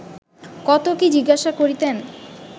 কত কি জিজ্ঞাসা করিতেন